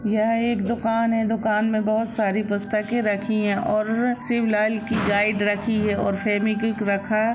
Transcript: यह एक दुकान है दुकान में बहुत सारी पुस्तकें रखी है और शिवलाल की गाइड रखी है और फेविक्विक रखा--